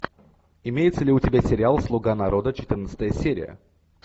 имеется ли у тебя сериал слуга народа четырнадцатая серия